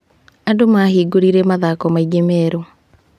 Andũ mahingũrire mathoko maingĩ merũ.